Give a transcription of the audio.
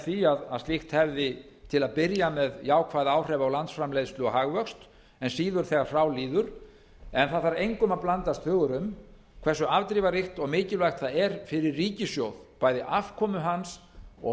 því að slíkt hefði til að byrja með jákvæð áhrif á landsframleiðslu og hagvöxt en síður þegar frá líður en það þarf engum að blandast hugur um hversu afdrifaríkt og mikilvægt það er fyrir ríkissjóð bæði afkomu hans og